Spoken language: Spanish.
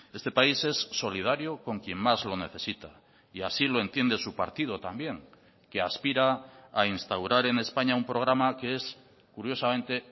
este país es solidario con quien más lo necesita y así lo entiende su partido también que aspira a instaurar en españa un programa que es curiosamente